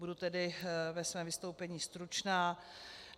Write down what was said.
Budu tedy ve svém vystoupení stručná.